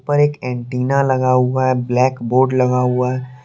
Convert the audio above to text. ऊपर एक एंटीना लगा हुआ है ब्लैक बोर्ड लगा हुआ है।